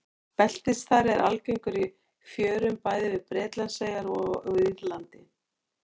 Beltisþari er algengur í fjörum bæði við Bretlandseyjar og á Írlandi.